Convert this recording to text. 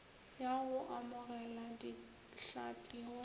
ya go amogela dihlapi go